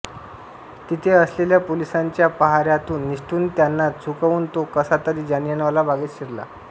तिथे असलेल्या पोलिसांच्या पहाऱ्यातून निसटून त्यांना चुकवून तो कसातरी जालियानवाला बागेत शिरला